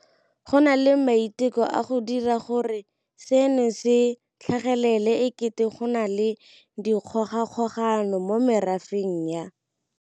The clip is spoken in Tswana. Go na le maiteko a go dira gore seno se tlhagelele e kete go na le dikgogakgogano mo merafeng ya.